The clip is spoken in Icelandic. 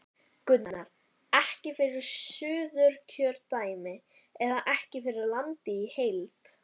Gunnar: Ekki fyrir Suðurkjördæmi eða ekki fyrir landið í heild?